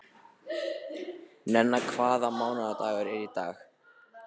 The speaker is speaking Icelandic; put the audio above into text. Nenna, hvaða mánaðardagur er í dag?